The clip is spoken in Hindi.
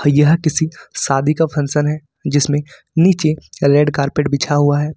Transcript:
यह किसी शादी का फंक्शन है जिसमें नीचे रेड कारपेट बिछा हुआ है।